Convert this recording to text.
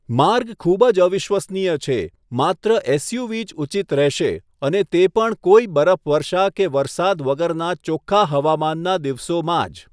માર્ગ ખૂબ જ અવિશ્વનીય છે, માત્ર એસયુવી જ ઉચિત રહેશે અને તે પણ કોઈ બરફવર્ષા કે વરસાદ વગરના ચોખ્ખા હવામાનના દિવસોમાં જ.